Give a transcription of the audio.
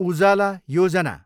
उजाला योजना